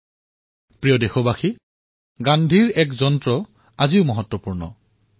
মোৰ মৰমৰ দেশবাসীসকল গান্ধীজীৰ আন এষাৰ মন্ত্ৰও আজিও সিমানেই গুৰুত্বপূৰ্ণ হৈ আছে